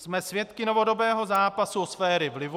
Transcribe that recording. Jsme svědky novodobého zápasu o sféry vlivu.